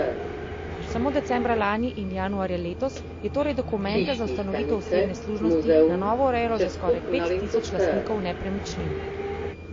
Samo decembra lani in januarja letos je torej dokumente za ustanovitev osebne služnosti na novo urejalo že skoraj pet tisoč lastnikov nepremičnin.